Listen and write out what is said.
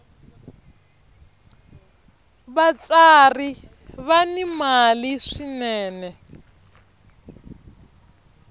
vatsari va ni mali swinene